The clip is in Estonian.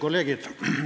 Kolleegid!